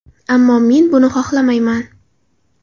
Ammo men buni xohlamayman.